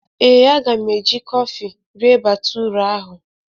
Ee, a ga m eji kọfị rịe batụra ahụ